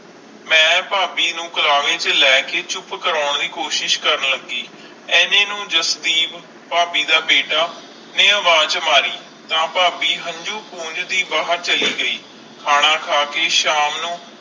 ਮਈ ਫਾਬੀ ਨੂੰ ਕਰਾਰੀ ਚ ਲੈ ਕੇ ਚੁੱਪ ਕਰਨ ਲੱਗੀ ਏਨੇ ਨੂੰ ਜਸਦੀਪ ਫਾਬੀ ਦਾ ਬੀਟਾ ਨੇ ਆਵਾਜ਼ ਮਾਰੀ ਫਾਬੀ ਹੰਜੂ ਪੌਨਜਦੀ ਬਾਹਿਰ ਚਾਲੀ ਗਈ ਖਾਣਾ ਖਾ ਕੇ ਸ਼ਾਮ ਨੂੰ